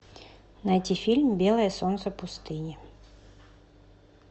найти фильм белое солнце пустыни